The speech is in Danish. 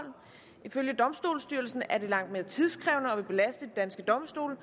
ifølge domstolsstyrelsen er det langt mere tidskrævende og vil belaste de danske domstole og